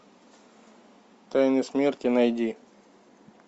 тайны смерти найди